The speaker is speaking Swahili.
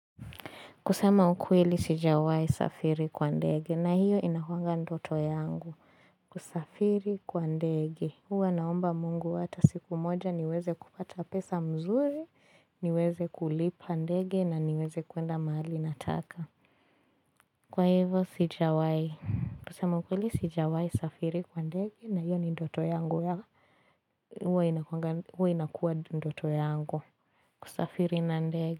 Kusema ukweli sijawai safiri kwa ndege na hiyo inakuwanga ndoto yangu. Kusafiri kwa ndege. Huwa naomba mungu hata siku moja niweze kupata pesa mzuri, niweze kulipa ndege na niweze kuenda mahali nataka. Kwa hivyo sijawai. Kusema ukweli sijawai safiri kwa ndege na hiyo ni ndoto yangu ya huwa inakuwanga huwa inakua ndoto yangu. Kusafiri na ndege.